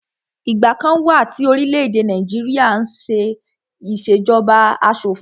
Ìgbà kan wà tí orílẹ̀-èdè Nàìjíríà n ṣé ìṣèjọba asọ̀fin